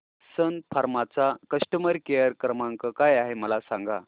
सन Pharma चा customer care क्रमांक काय आहे मला सांगा